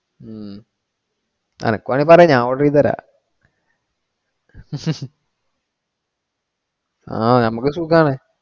ഉം നിനക്ക് വേണേ പറ ഞാൻ order ചെയ്തു തരാം ആ നമക്ക് സുഖാണ്.